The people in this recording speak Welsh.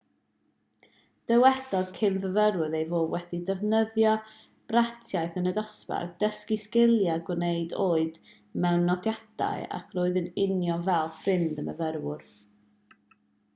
dywedodd cyn-fyfyriwr ei fod wedi defnyddio bratiaith yn y dosbarth dysgu sgiliau gwneud oed mewn nodiadau ac roedd yn union fel ffrind y myfyrwyr